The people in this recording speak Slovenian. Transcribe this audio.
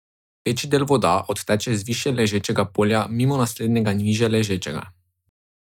Večji del voda odteče z višje ležečega polja mimo naslednjega nižje ležečega.